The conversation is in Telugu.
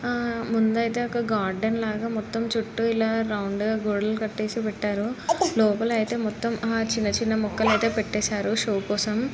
ఆ ముందు యితే ఒక గార్డెన్ లాగా మొత్తం చుట్టు రౌండ్ లాగా చుట్టు గోడలు కాటేసి పెట్టారు లోపాలయితే మొత్తం చిన్నచిన్న మొక్కలు ఐతే పెటేసారు షో కోసం.